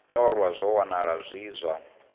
ṱolwa zwa wanala zwi zwa